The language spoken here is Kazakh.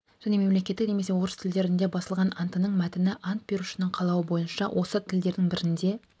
және мемлекеттік немесе орыс тілдерінде басылған антының мәтіні ант берушінің қалауы бойынша осы тілдердің бірінде